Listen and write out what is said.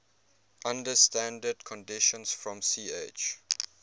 under standard conditions from ch